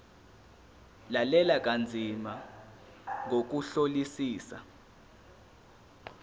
lalela kanzima ngokuhlolisisa